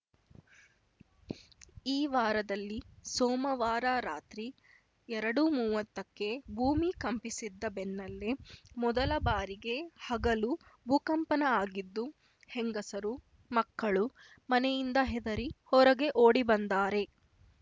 ಈ ವಾರದಲ್ಲಿ ಸೋಮವಾರ ರಾತ್ರಿ ಎರಡುಮೂವತ್ತಕ್ಕೆ ಭೂಮಿ ಕಂಪಿಸಿದ್ದ ಬೆನ್ನಲ್ಲೆ ಮೊದಲ ಬಾರಿಗೆ ಹಗಲು ಭೂಕಂಪನ ಆಗಿದ್ದು ಹೆಂಗಸರು ಮಕ್ಕಳು ಮನೆಯಿಂದ ಹೆದರಿ ಹೊರಗೆ ಓಡಿ ಬಂದ್ದಾರೆ